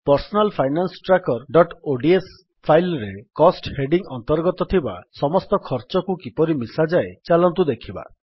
personal finance trackerଓଡିଏସ file ରେ cost heading ଅନ୍ତର୍ଗତ ଥିବା ସମସ୍ତ ଖର୍ଚ୍ଚକୁ କିପରି ମିଶାଯାଏ ଚାଲନ୍ତୁ ଦେଖିବା